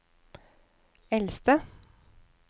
eldste